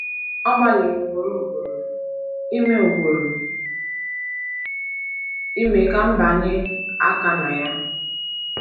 Ọ gbalịrị ugboro ugboro ime ugboro ime ka m bịanye aka na ya.